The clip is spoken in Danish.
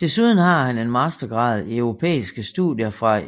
Desuden har han en mastergrad i europæiske studier fra